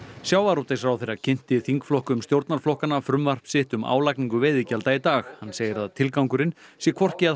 sjávarútvegsráðherra kynnti þingflokkum stjórnarflokkanna frumvarp sitt um álagningu veiðigjalda í dag hann segir að tilgangurinn sé hvorki að